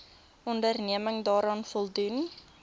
onderneming daaraan voldoen